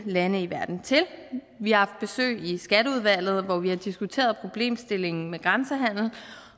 lande i verden til vi har i skatteudvalget hvor vi har diskuteret problemstillingen med grænsehandel